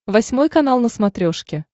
восьмой канал на смотрешке